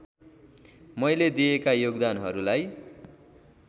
मैले दिएका योगदानहरूलाई